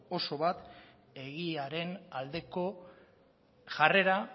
oso bat egiaren aldeko jarrera